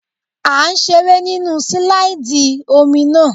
À ń seré nínu sílàìdì omi náà